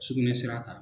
Sugunɛ sira kan